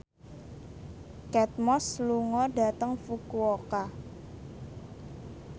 Kate Moss lunga dhateng Fukuoka